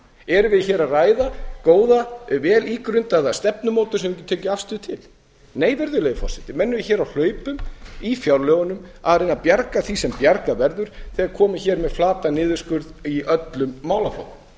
erum við hér að ræða góða vel ígrundaða stefnumótun sem við getum tekið afstöðu til nei virðulegi forseti menn eru hér á hlaupum í fjárlögunum að reyna að bjarga því sem bjargað verður þegar komi hér með flatan niðurskurð í öllum málaflokkum